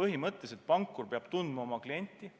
põhimõtteliselt pankur peab oma klienti tundma.